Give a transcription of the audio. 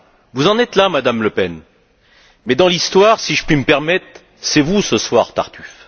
Vous en êtes là, Madame Le Pen, mais dans l'histoire, si je puis me permettre, c'est vous, ce soir, Tartuffe.